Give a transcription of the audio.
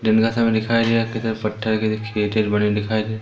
दिन का समय दिखाई दे रहा कहीं पत्थर कहीं खेत वेत बने दिखाई दे--